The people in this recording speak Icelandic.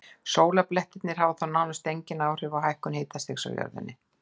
Sólblettirnir hafa þó nánast engin áhrif á hækkun hitastigs á jörðunni.